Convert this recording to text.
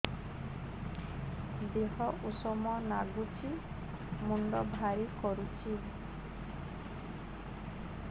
ଦିହ ଉଷୁମ ନାଗୁଚି ମୁଣ୍ଡ ଭାରି କରୁଚି